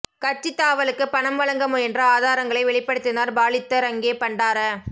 கட்சித் தாவலுக்கு பணம் வழங்க முயன்ற ஆதாரங்களை வெளிப்படுத்தினார் பாலித்த ரங்கே பண்டார